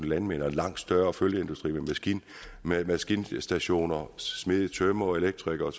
landmænd og en langt større følgeindustri med maskinstationer smede tømrere elektrikere og